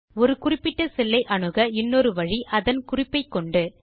ஒரு குறிப்பிட்ட செல் ஐ அணுக இன்னொரு வழி அதன் குறிப்பை கொண்டு